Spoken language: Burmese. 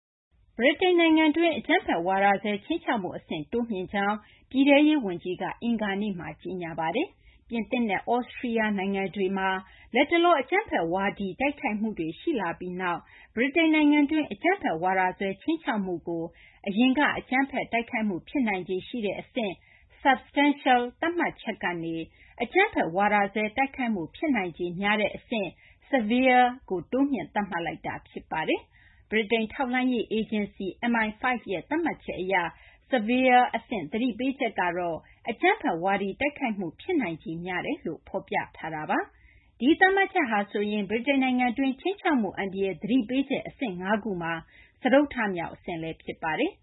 ဗြိတိန်နိုင်ငံတွင်း အကြမ်းဖက် ဝါဒစွဲ ခြိမ်းခြောက်မှုအဆင့် တိုးမြှင့်ကြောင်း ပြည်ထဲရေး ဝန်ကြီးက အင်္ဂါနေ့မှာ ကြေညာပါတယ်။ ပြင်သစ်နဲ့ သြစတြီးယား နိုင်ငံတွေမှာ လတ်တလော အကြမ်းဖက်ဝါဒီ တိုက်ခိုက်မှုတွေ ရှိလာပြီးနောက်မှာ ဗြိတိန်နိုင်ငံတွင်း အကြမ်းဖက်ဝါဒစွဲ ခြိမ်းခြောက်မှုကို အရင်က အကြမ်းဖက် တိုက်ခိုက်မှု ဖြစ်နိုင်ခြေ ရှိတဲ့ အဆင့် substantial သတ်မှတ်ချက်ကနေ အကြမ်းဖက် ဝါဒစွဲ တိုက်ခိုက်မှု ဖြစ်နိုင်ခြေ များတဲ့ အဆင့် severe ကို တိုးမြှင့် သတ်မှတ်လိုက်တာ ဖြစ်ပါတယ်။ ဗြိတိန် ထောက်လှမ်းရေး အေဂျင်စီ MI5 ရဲ့ သတ်မှတ်ချက်အရ severe အဆင့် သတိပေးချက် ကတော့ အကြမ်းဖက် ဝါဒီ တိုက်ခိုက်မှု ဖြစ်နိုင်ခြေများတယ်လို့ ဖော်ပြထားတာပါ။ ဒီ သတ်မှတ်ချက်ဟာ ဆိုရင် ဗြိတိန်နိုင်ငံတွင်း ခြိမ်းခြောက်မှု အန္တရာယ် သတိပေးချက် အဆင့် ၅ ခုမှာ စတုတ္ထမြောက် အဆင့်လည်း ဖြစ်ပါတယ်